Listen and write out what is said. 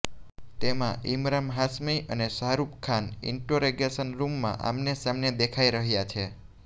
તેમાં ઇમરાન હાશ્મી અને શાહરુખ ખાન ઇન્ટેરોગેશન રૂમમાં આમને સામને દેખાઈ રહ્યા છે